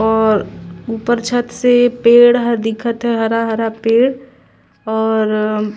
और ऊपर छत से पेड़ ह दिखत हे हरा-हरा पेड़ और--